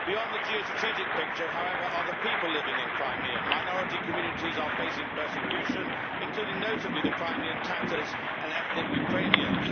Beyond the geostrategic picture, however, are the people living in Crimea minority communities are facing persecution, including notably the Crimean Tatars and ethnic Ukrainians.